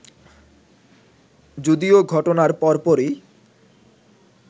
যদিও ঘটনার পরপরই